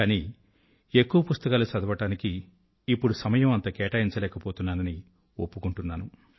కానీ ఎక్కువ పుస్తకాలు చదవడానికి ఇప్పుడు సమయం అంత కేటాయించలేకపోతున్నానని ఒప్పుకుంటాను